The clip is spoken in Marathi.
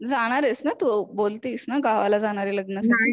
जाणार आहेस ना तू बोलतीस ना गावाला जाणारे लग्नासाठी